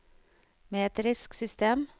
metrisk system